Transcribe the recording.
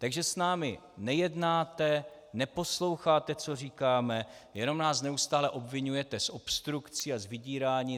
Takže s námi nejednáte, neposloucháte, co říkáme, jen nás neustále obviňujete z obstrukcí a z vydírání.